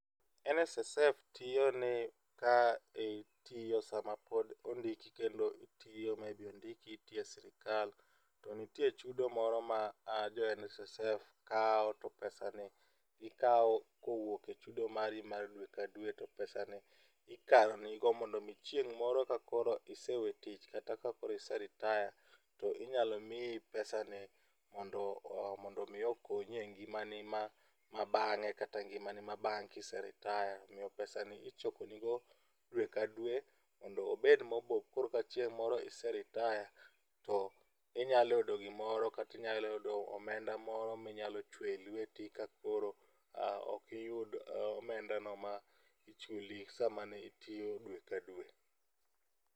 NSSF tiyo ni ka itiyo sama pod ondiki kendo itiyo maybe ondiki itiyo e sirikal to nitie chudo moro ma jo NSSF kawo to pesa ni gikao kowuok e chudo mari mar dwe ka dwe to pesani ikao mondo chieng' moro ka isewetich kata ka iseritaya to iyalo mii pesa ni mondo mii okonyi e ngimani ma bang'e kata ngimani ma bang' ka iseritaya omiyo pesani ichokoni go dwe ka dwe mondo obed mobup koro ka chieng' moro iseritaya to inyalo yudo gimoro kata inyalo yudo omenda moro ma inyalo chuowe lweti ka koro okiyudi omenda no manichuli dwe ka dwe.